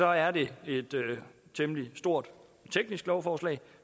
er det et temmelig stort teknisk lovforslag